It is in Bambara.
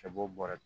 Ka bɔ bɔrɛ